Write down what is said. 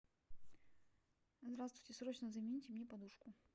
здравствуйте срочно замените мне подушку